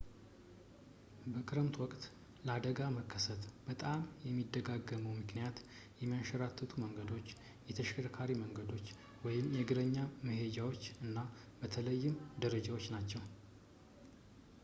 በክረምት ወቅት ለአደጋ መከሰት በጣም የሚደጋገመው ምክንያት የሚያንሸራትቱ መንገዶች፣ የተሽከርካሪ መንገዶች የእግረኛ መሄጃዎች እና በተለይም ደረጃዎች ናቸው